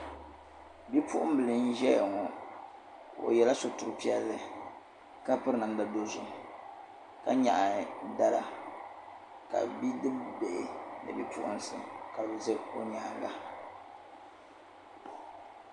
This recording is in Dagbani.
Bipuɣimbila n-zaya ŋɔ o yɛla sutur' piɛlli ka piri namda dɔzim ka nyaɣi dala ka bidibihi ni bipuɣinsi ka bɛ za o nyaaŋa